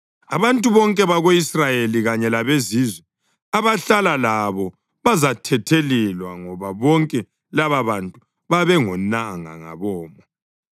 Abantu bonke bako-Israyeli kanye labezizwe abahlala labo bazathethelelwa, ngoba bonke lababantu babengonanga ngabomo.